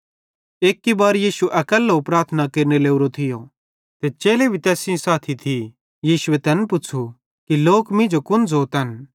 एक्की बार यीशु अकैल्लो प्रार्थना केरने लोरे थियो ते चेले भी तैस सेइं थिये यीशुए तैन पुच़्छ़ू कि लोक मींजो कुन ज़ोतन